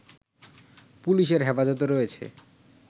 পুলিশের হেফাজতে রয়েছে